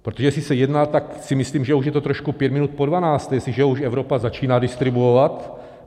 Protože jestli se jedná, tak si myslím, že už je to trošku pět minut po dvanácté, jestliže už Evropa začíná distribuovat.